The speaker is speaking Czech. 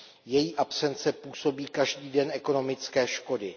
Její absence působí každý den ekonomické škody.